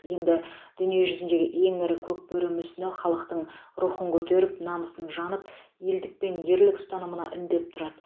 енді дүние жүзіндегі ең ірі көкбөрі мүсіні халықтың рухын көтеріп намысын жанып елдік пен ерлік ұстанымына үндеп тұрады